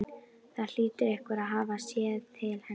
Það hlýtur einhver að hafa séð til hennar.